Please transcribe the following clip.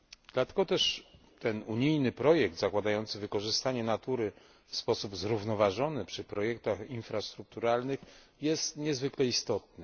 Dlatego też ten unijny projekt, zakładający wykorzystanie natury w sposób zrównoważony przy projektach infrastrukturalnych, jest niezwykle istotny.